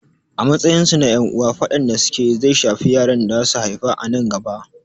A matsayin su na ƴan uwa, faɗan da su ke yi zai shafi yaran da za su haifa a nan gaba.